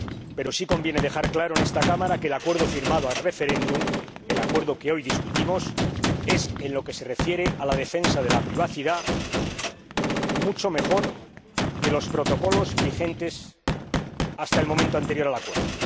Pero sí conviene dejar claro en esta Cámara que el acuerdo firmado ad referendum, el acuerdo que hoy discutimos, es, en lo que se refiere a la defensa de la privacidad, mucho mejor que los protocolos vigentes hasta el momento anterior al acuerdo.